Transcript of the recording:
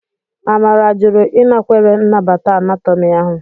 Amara jụrụ ịnakwere nnabata Anatomi ahụ.